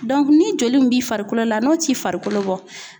ni joli min b'i farikolo la n'o ti farikolo bɔ